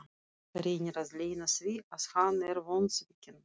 Reynir að leyna því að hann er vonsvikinn.